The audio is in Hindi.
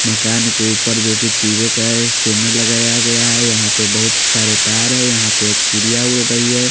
मकान को ऊपर जो की टी_वि का है एक स्कैनर लगाया गया है यहाँ पे बहुत सारे तार है यहाँ पे एक चिड़ियाँ उड़ रही है ।